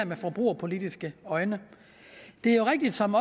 med forbrugerpolitiske øjne det er jo rigtigt som